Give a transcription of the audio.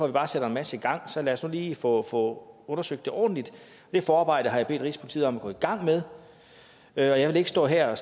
vi bare sætter en masse i gang så lad os nu lige få få undersøgt det ordentligt det forarbejde har jeg bedt rigspolitiet om at gå i gang med og jeg vil ikke stå her